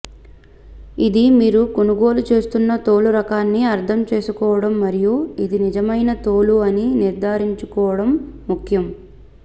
ఇది మీరు కొనుగోలు చేస్తున్న తోలు రకాన్ని అర్ధం చేసుకోవడం మరియు ఇది నిజమైన తోలు అని నిర్ధారించుకోవడం ముఖ్యం